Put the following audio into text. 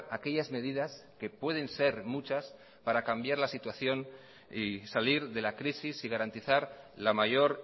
aquellas medidas que pueden ser muchas para cambiar la situación y salir de la crisis y garantizar la mayor